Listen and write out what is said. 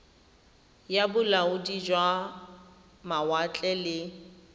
ya bolaodi jwa mawatle le